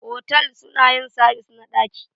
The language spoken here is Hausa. Otal suna yin sabis na daki.